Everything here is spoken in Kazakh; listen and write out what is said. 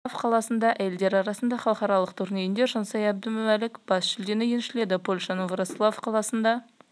польша елінің вроцлав қаласында әйелдер арасындағы халықаралық турнирінде жансая әбдімәлік бас жүлдені еншіледі польшаның вроцлав қаласында